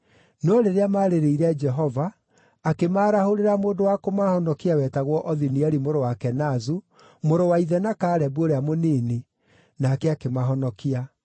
No rĩrĩa maarĩrĩire Jehova, akĩmaarahũrĩra mũndũ wa kũmahonokia wetagwo Othinieli mũrũ wa Kenazu, mũrũ wa ithe na Kalebu ũrĩa mũnini, nake akĩmahonokia.